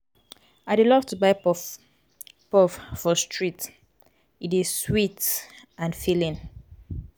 i dey love to buy puff-puff for street; street; e dey sweet and filling.